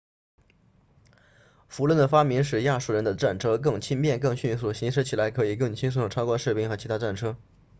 辐轮的发明使亚述人的战车更轻便更迅速行驶起来可以更轻松地超过士兵和其他战车